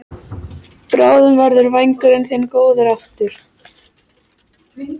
Þegar ég kom í Hólminn var útvegur í örum vexti.